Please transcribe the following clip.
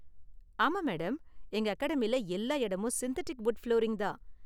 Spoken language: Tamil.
ஆமா மேடம், எங்க அகாடமில எல்லா இடமும் சிந்தெட்டிக் வுட் ஃபுளோரிங் தான்.